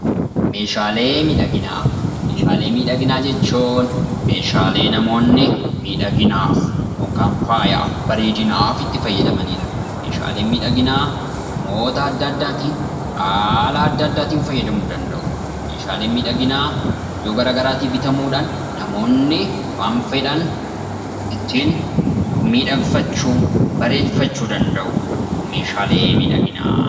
Meeshaalee miidhaginaa. Meeshaalee miidhaginaa jechuun meeshaalee namoonni miidhaginaaf yookiin faayaaf, bareedinaaf itti fayyadamaniidha. Meeshaaleen miidhaginaa namoota addaa addaatiin haala addaa addaatiin fayyadamuu danda'u. Meeshaaleen miidhaginaa iddoo garaa garaatii bitamuudhaan namoonni waan fedhan ittiin miidhagfachuu, bareeffachuu danda'u.